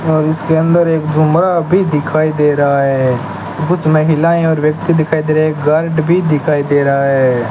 और इसके अंदर एक झुमरा अभी दिखाई दे रहा है कुछ महिलाएं और व्यक्ति दिखाई दे रहे हैं एक गार्ड भी दिखाई दे रहा है।